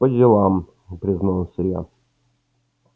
по делам признался я